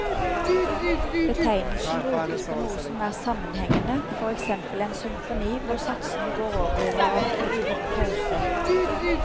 Betegnelsen brukes på noe som er sammenhengende, for eksempel en symfoni hvor satsene går over i hverandre uten pause.